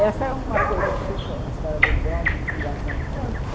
Essa é uma coisa que ficou, a história do bode e da sanfona.